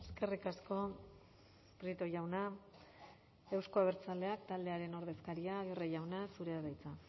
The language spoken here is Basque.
eskerrik asko prieto jauna euzko abertzaleak taldearen ordezkaria aguirre jauna zurea da hitza